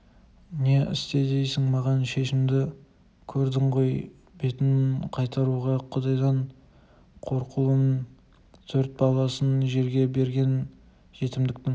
не істе дейсің маған шешемді көрдің ғой бетін қайтаруға құдайдан қорқулымын төрт баласын жерге берген жетімдіктің